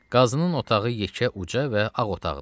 Qazının otağı yekə, uca və ağ otağıdır.